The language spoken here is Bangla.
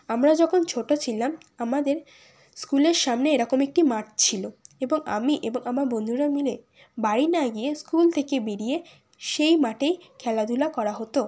আমরা যখন ছোট ছিলাম আমাদের স্কুল -এর সামনে এরকম একটি মাঠ ছিল এবং আমি এবং আমার বন্ধুরা মিলে বাড়ি না গিয়ে স্কুল থেকে বেরিয়ে সেই মাঠেই খেলাধুলা করা হতো।